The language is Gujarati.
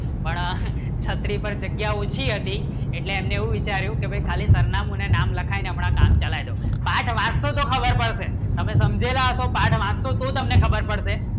પણ છત્રી પર જગ્યા ઊંચી હતી એટલે એમને હું વિચાર્યું કી ભાઈ ખાલી સરનામા નું ને નામ લખેલો આપણા કામ ચલાય દો પાથ વાંચતું તો ખબર પડશે તમે સાંજેના તમે પાઠ વાંચતું તો તમને ખબર પડશે